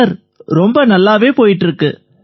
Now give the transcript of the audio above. sir ரொம்ப நல்லாவே போயிட்டு இருக்கு